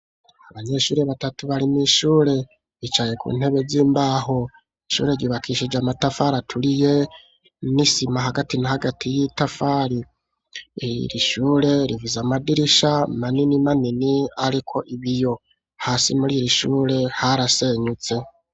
Abanyeshure batatu bari mw'ishure bicaye ku ntebe z'imbaho ishure ryubakishije amatafari aturiye n'isima hagati na hagati y'itafari, ishure rifise amadirisha manini manini ariko ibiyo hasi muri ir'ishure harasenyutse.